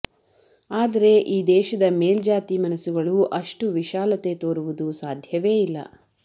ಆದರೆ ಈ ದೇಶದ ಮೇಲ್ಜಾತಿ ಮನಸುಗಳು ಅಷ್ಟು ವಿಶಾಲತೆ ತೋರುವುದು ಸಾಧ್ಯವೇ ಇಲ್ಲ